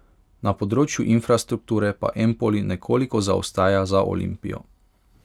Na področju infrastrukture pa Empoli nekoliko zaostaja za Olimpijo ...